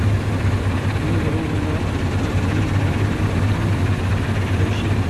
кино дорога на арлингтон поищи